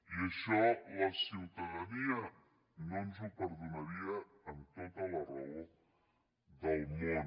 i això la ciutadania no ens ho perdonaria amb tota la raó del món